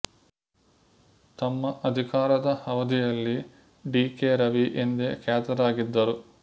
ತಮ್ಮ ಅಧಿಕಾರದ ಅವಧಿಯಲ್ಲಿ ಡಿ ಕೆ ರವಿ ಎಂದೇ ಖ್ಯಾತರಾಗಿದ್ದರು